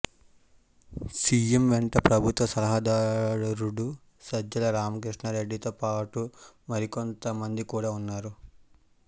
CM వెంట ప్రభుత్వ సలహాదారుడు సజ్జల రామకృష్ణారెడ్డితో పాటు మరికొంత మంది కూడా ఉన్నారు